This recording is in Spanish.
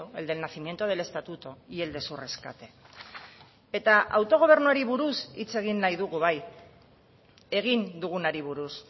el del nacimiento del estatuto y el de su rescate eta autogobernuari buruz hitz egin nahi dugu bai egin dugunari buruz